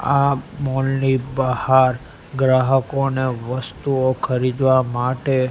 આ મોલ ની બહાર ગ્રાહકોને વસ્તુઓ ખરીદવા માટે--